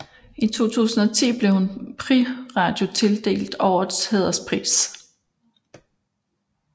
I 2010 blev hun ved Prix Radio tildelt Årets hæderspris